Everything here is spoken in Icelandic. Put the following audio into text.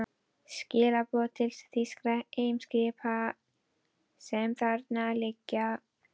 Skilaboð til þýskra eimskipa, sem þarna liggja.